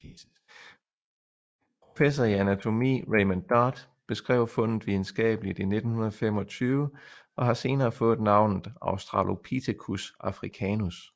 Professor i anatomi Raymond Dart beskrev fundet videnskabeligt i 1925 og har senere fået navnet Australopithecus africanus